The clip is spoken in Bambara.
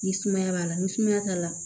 Ni sumaya b'a la ni sumaya t'a la